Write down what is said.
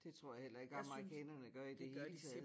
Det tror jeg heller ikke amerikanerne gør i det hele taget